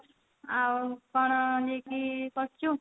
ଆଉ କଣ କରୁଛୁ